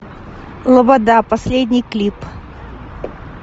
лобода последний клип